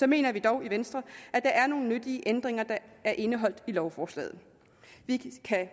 mener vi dog i venstre at der er nogle nyttige ændringer der er indeholdt i lovforslaget vi kan